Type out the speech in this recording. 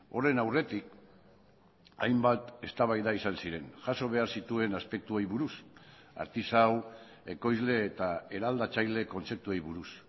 horren aurretik hainbat eztabaida izan ziren jaso behar zituen aspektuei buruz artisau ekoizle eta eraldatzaile kontzeptuei buruz